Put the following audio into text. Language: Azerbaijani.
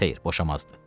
Xeyr, boşamazdı.